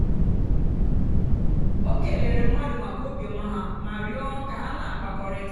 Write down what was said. o kèlèèrè mmadụ́ maka óbìọ́mà ha mà rịọ́ kà ọ na-àkpákọ̀rị̀ta.